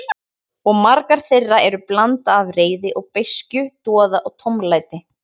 Og margar þeirra eru blanda af reiði og beiskju, doða og tómlæti.